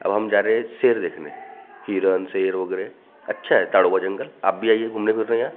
अब हम जा रहे हे शेर देखने हिरण शेर वगैरा अच्छा है ताड़ो का जंगल आप भी आइए घूमने फिरने यहाँ।